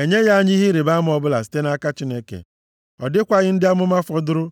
Enyeghị anyị ihe ịrịbama ọbụla site nʼaka Chineke. Ọ dịkwaghị ndị amụma fọdụrụ.